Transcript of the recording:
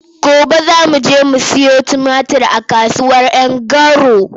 Gobe za mu je mu sayo tumatir a kasuwar Garu.